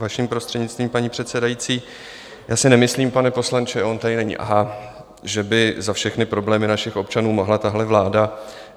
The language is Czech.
Vaším prostřednictvím, paní předsedající, já si nemyslím, pane poslanče - on tady není, aha - že by za všechny problémy našich občanů mohla tahle vláda.